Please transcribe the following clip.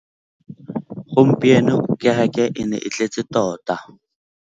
Gompieno kêrêkê e ne e tletse tota.